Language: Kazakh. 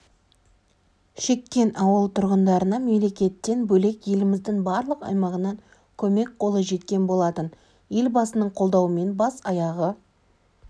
шеккен ауыл тұрғындарына мемлекеттен бөлек еліміздің барлық аймағынан көмек қолы жеткен болатын елбасының қолдауымен бас-аяғы